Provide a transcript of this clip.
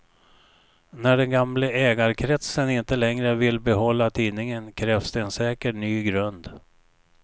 När den gamla ägarkretsen inte längre vill behålla tidningen krävs det en säker ny grund.